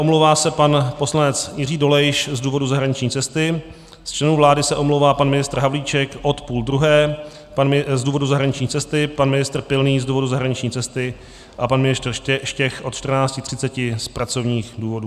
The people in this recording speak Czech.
Omlouvá se pan poslanec Jiří Dolejš z důvodu zahraniční cesty, z členů vlády se omlouvá pan ministr Havlíček od půl druhé z důvodu zahraniční cesty, pan ministr Pilný z důvodu zahraniční cesty a pan ministr Štech od 14.30 z pracovních důvodů.